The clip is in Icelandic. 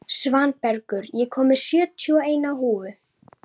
Svanbergur, ég kom með sjötíu og eina húfur!